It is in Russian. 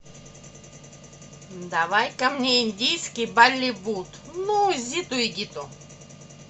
давай ка мне индийский болливуд ну зиту и гиту